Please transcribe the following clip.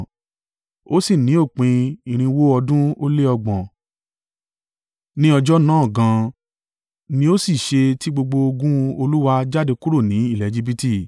Ó sì ní òpin irinwó ọdún ó le ọgbọ̀n (430), ní ọjọ́ náà gan an, ni ó sì ṣe tí gbogbo ogun Olúwa jáde kúrò ní ilẹ̀ Ejibiti.